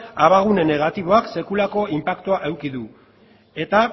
abagune gune negatiboak sekulako inpaktua eduki du eta